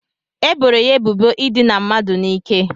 E boro ya ebubo idina mmadụ n'ike.